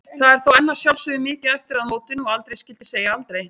Það er þó enn að sjálfsögðu mikið eftir að mótinu og aldrei skyldi segja aldrei.